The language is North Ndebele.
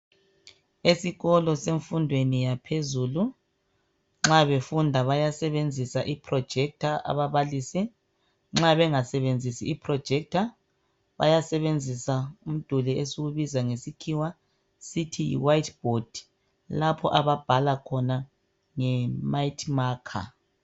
Esikolo semfundweni yaphezulu nxa befunda bayasebenzisa i projector ababalisi nxa bengasebenzisi i projector bayasebenzisa umduli esiwubiza ngesikhiwa sithi yi white board lapho ababhala khona nge mighty maker.